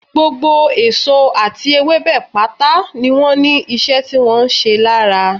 Gbogbo èso àti ewébẹ̀ pátá ni wọ́n ní ìṣe tí wọ́n ń ṣe lára